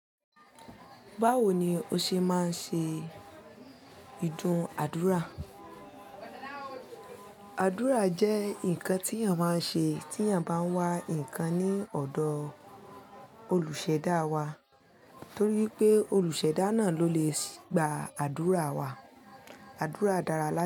Báwo ni o ṣe máa ń ṣe ìdún adúrà? Àdúrà jẹ́ ǹkan tí èèyàn máa ń ṣe tí èèyàn bá ń wá ǹkan ní ọ̀dọ̀ olùṣẹ̀dá wa, torí pé olùṣẹ̀dá náà ló le sì gba àdúrà wa. Àdúrà dára láé.